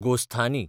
गोस्थानी